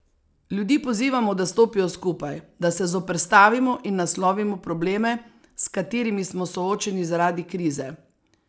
Ljudi pozivamo, da stopijo skupaj, da se zoperstavimo in naslovimo probleme, s katerimi smo soočeni zaradi krize.